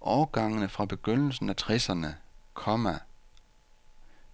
Årgangene fra begyndelsen af tresserne, komma